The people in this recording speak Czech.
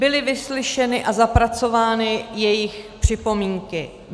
Byly vyslyšeny a zapracovány jejich připomínky.